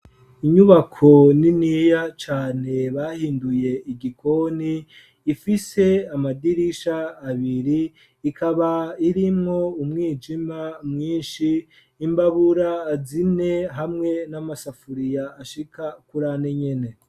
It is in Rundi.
Inyubako niniya cane bahinduye igikoni ifise amadirisha abiri ikaba irimwo umwijima mwinshi imbabura azine hamwe n'amasafuriya ashika kurane nyene.